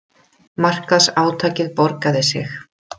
Markaðsátakið borgaði sig